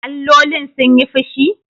Allolin sun yi fushi?